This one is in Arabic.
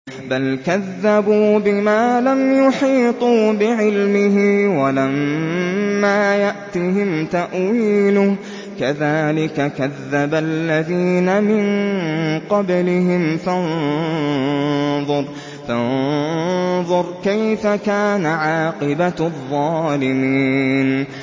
بَلْ كَذَّبُوا بِمَا لَمْ يُحِيطُوا بِعِلْمِهِ وَلَمَّا يَأْتِهِمْ تَأْوِيلُهُ ۚ كَذَٰلِكَ كَذَّبَ الَّذِينَ مِن قَبْلِهِمْ ۖ فَانظُرْ كَيْفَ كَانَ عَاقِبَةُ الظَّالِمِينَ